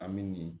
An bɛ nin